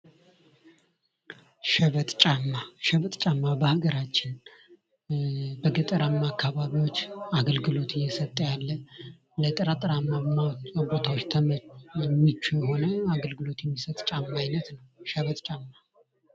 ሸበጥ ጫማ ሸበጥ ጫማ በሀገራችን በገጠራማ አካባቢዎች አገልግሎት እየሰጠ ያለ ለጠጠራማ ቦታዎች ምቹ የሆነ አገልግሎት የሚሰጥ ጫማ አይነት ነው ።ሸበጥ ጫማ